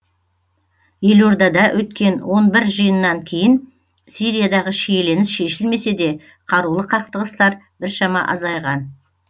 елордада өткен он бір жиыннан кейін сириядағы шиеленіс шешілмесе де қарулы қақтығыстар біршама азайған